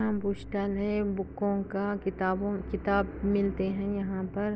यहाँ एक book stall है यहाँ बूकोका किताब मिलते है यहाँ पर --